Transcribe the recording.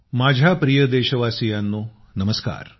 माझ्या प्रिय देशवासियांनो नमस्कार